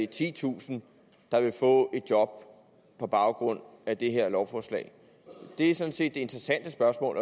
titusind der vil få et job på baggrund af det her lovforslag det er sådan set det interessante spørgsmål